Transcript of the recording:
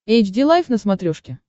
эйч ди лайф на смотрешке